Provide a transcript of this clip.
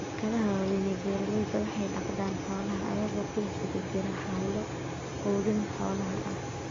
Shirkadaha waaweyn ee beeralayda waxay dhaqdaan xoolaha iyagoo ku guda jira hawlo quudin xoolaha ah.